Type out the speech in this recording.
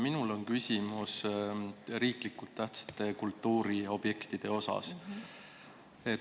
Minul on küsimus riiklikult tähtsate kultuuriobjektide kohta.